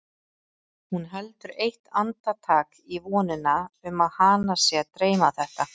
Hún heldur eitt andartak í vonina um að hana sé að dreyma þetta.